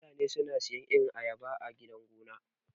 Mutane suna sayan irin ayaba a gidan gona.